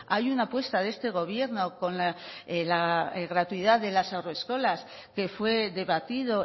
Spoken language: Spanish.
hay una apuesta de este gobierno con la gratuidad de las haurreskolas que fue debatido